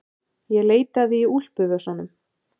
Ég leitaði í úlpuvösunum.